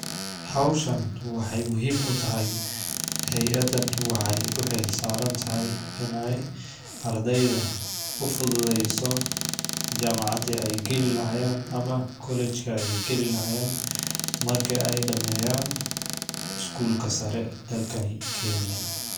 Hawshan waxeey muhiim u tahay ,hayadan waxeey u xil saaran tahay ineey ardeyda ufududeyso jaamacadi ay gali lahayeen ama college ki ay gali lahayeen ,marki ay dhameyaan skuulka sare dalkanu kenya.